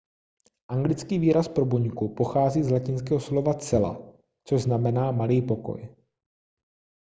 anglický výraz pro buňku pochází z latinského slova cella což znamená malý pokoj